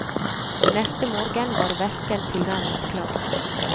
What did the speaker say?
Neste morgen var væsken tilnærmet klar.